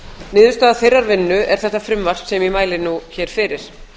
niðurstaða þeirrar vinnu er þetta frumvarp sem ég mæli nú hér fyrir